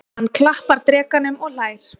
Hann klappar drekanum og hlær.